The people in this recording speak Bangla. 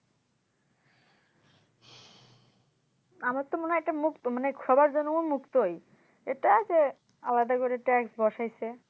আমার তো মনেহয় এটা সবার জন্যই এটা উন্মুক্তই এটা যে আলাদা করে TAX বসাইছে